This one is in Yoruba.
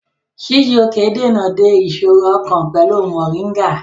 Chijioke dènà de ìṣòro ọkàn pẹ̀lú Mọ̀ríngà